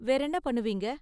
வேறென்ன பண்ணுவீங்க?